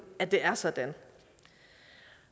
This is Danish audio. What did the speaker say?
at det er sådan